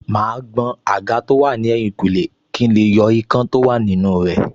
Màá gbọn àga tó wà ní ẹ̀yìnkùlé kí n lè yọ ikán tó wà nínú rẹ̀